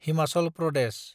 Himachal Pradesh